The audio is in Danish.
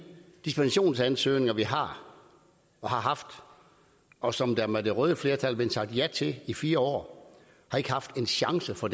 dispensationsansøgere vi har og har haft og som der med det røde flertal er blevet sagt ja til i fire år ikke haft en chance for